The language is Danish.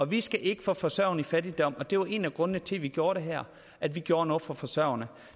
vi skal ikke få forsørgerne ud i fattigdom og det var en af grundene til at vi gjorde det her at vi gjorde noget for forsørgerne